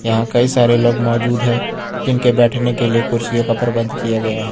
यहां कई सारे लोग मौजूद हैं जिनके बैठने के लिए कुर्सियों का प्रबंध किया गया है।